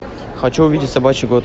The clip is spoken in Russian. хочу увидеть собачий год